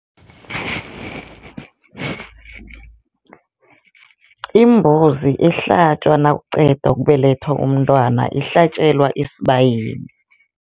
Imbuzi ehlatjwa nakuqeda ukubelethwa umntwana ihlatjelwa esibayeni.